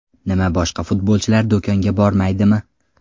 Nima boshqa futbolchilar do‘konga bormaydimi?